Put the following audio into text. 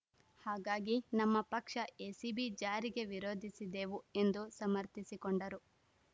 ಹಾಗಾಗಿ ನಮ್ಮ ಪಕ್ಷ ಎಸಿಬಿ ಜಾರಿಗೆ ವಿರೋಧಿಸಿದೆವು ಎಂದು ಸಮರ್ಥಿಸಿಕೊಂಡರು